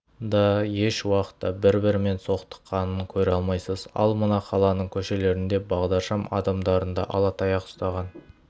да еш уақытта бір-бірімен соқтыққанын көре алмайсыз ал мына қаланың көшелерінде бағдаршам адамдарында алатаяқ ұстаған